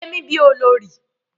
Ṣe mi bí olórí.